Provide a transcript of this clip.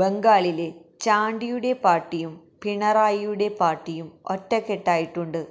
ബംഗാളില് ചാണ്ടിയുടെ പാര്ട്ടിയും പിണറായിയുടെ പാര്ട്ടിയും ഒറ്റക്കെട്ടായിട്ടുണ്ട്